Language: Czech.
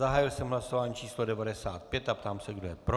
Zahájil jsem hlasování číslo 95 a ptám se, kdo je pro.